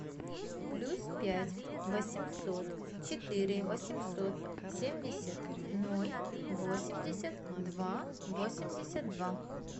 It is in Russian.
плюс пять восемьсот четыре восемьсот семьдесят ноль восемьдесят два восемьдесят два